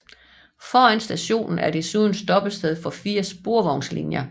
Foran stationen er desuden stoppested for fire sporvognslinjer